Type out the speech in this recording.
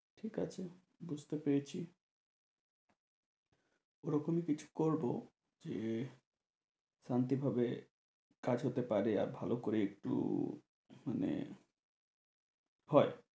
ঠিকআছে, বুঝতে পেরেছি ও রকমই কিছু করবো যে শান্তি ভাবে কাজ হতে পারে আর ভালো করে একটু মানে হয়।